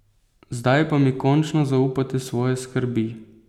Zdaj pa mi končno zaupajte svoje skrbi!